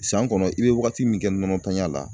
San kɔnɔ i bɛ wagati min kɛ nɔnɔtanya la